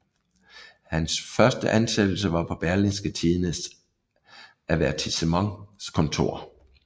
Hans første ansættelse var på Berlingske Tidendes avertissementskontor